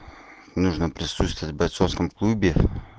нужно просто сейчас в бойцовском клубе